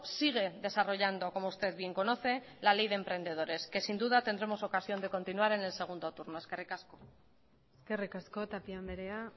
sigue desarrollando como usted bien conoce la ley de emprendedores que sin duda tendremos ocasión de continuar en el segundo turno eskerrik asko eskerrik asko tapia andrea